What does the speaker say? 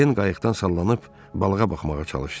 Den qayıqdan sallanıb balığa baxmağa çalışdı.